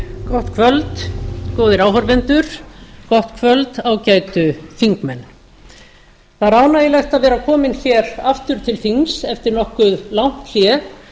gott kvöld góðir áhorfendur gott kvöld ágætu þingmenn það er ánægjulegt að vera komin hér aftur til þings eftir nokkuð langt hlé